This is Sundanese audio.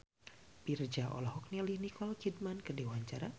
Virzha olohok ningali Nicole Kidman keur diwawancara